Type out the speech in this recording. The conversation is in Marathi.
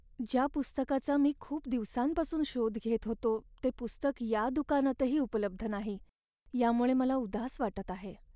ज्या पुस्तकाचा मी खूप दिवसांपासून शोध घेत होतो ते पुस्तक या दुकानातही उपलब्ध नाही यामुळे मला उदास वाटत आहे.